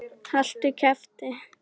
Haltu kjafti!